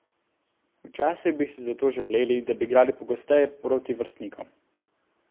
Včasih bi si zato želeli, da bi igrali pogosteje proti vrstnikom.